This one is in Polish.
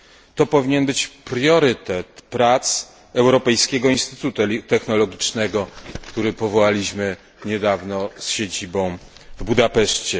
To powinien być priorytet prac Europejskiego Instytutu Technologicznego, który powołaliśmy niedawno z siedzibą w Budapeszcie.